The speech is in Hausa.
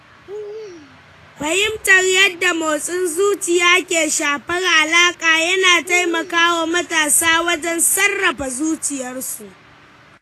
Fahimtar yadda motsin zuciya ke shafar alaƙa yana taimaka wa matasa wajen sarrafa zuciyarsu.